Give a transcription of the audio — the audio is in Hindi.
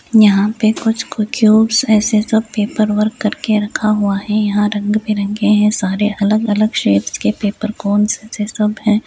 यहाँ पे कुछ क्यूब्स ऐसे सब पेपर वर्क करके रखा हुआ है यहाँ रंग-बिरंगे है सारे अलग-अलग शेप्स के पेपर कोंस से सब हैं।